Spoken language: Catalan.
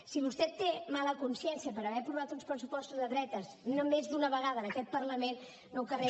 si vostè té mala consciència per haver aprovat uns pressupostos de dretes no més d’una vegada en aquest parlament no ho carregui